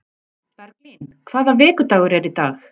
Berglín, hvaða vikudagur er í dag?